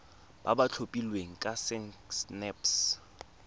ba ba tlhophilweng ke sacnasp